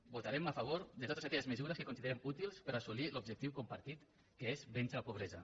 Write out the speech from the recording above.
votarem a favor de totes aquelles mesures que considerem útils per assolir l’objectiu compartit que és vèncer la pobresa